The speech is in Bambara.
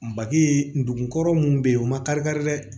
Make ndugun kɔrɔ mun be yen u ma kari kari dɛ